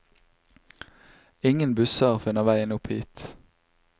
Ingen busser finner veien opp hit.